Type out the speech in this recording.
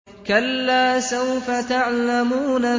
كَلَّا سَوْفَ تَعْلَمُونَ